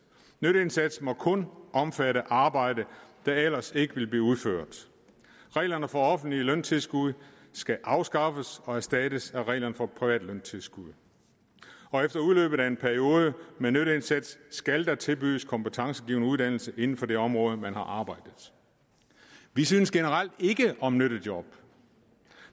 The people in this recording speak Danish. nytteindsatsen må kun omfatte arbejde der ellers ikke ville blive udført reglerne for offentligt løntilskud skal afskaffes og erstattes af reglerne for privat løntilskud og efter udløbet af en periode med nytteindsats skal der tilbydes kompetencegivende uddannelse inden for det område man har arbejdet vi synes generelt ikke om nyttejob